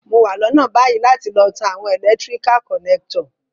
Mo wa lónà bayi láti lo tan àwon electrical connector